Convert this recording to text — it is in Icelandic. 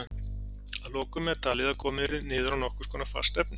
Að lokum er talið að komið yrði niður á nokkurs konar fast efni.